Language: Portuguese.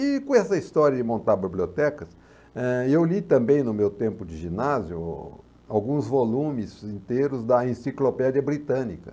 E com essa história de montar bibliotecas, eh, eu li também no meu tempo de ginásio alguns volumes inteiros da enciclopédia britânica.